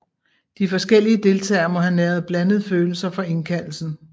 De forskellige deltagere må have næret blandede følelser for indkaldelsen